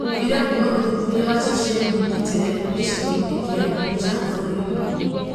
ũira kuuma ũthuthuria wa ceceni ngĩtĩre gĩcigoinĩ kĩa Mbunja bũrũri-inĩ.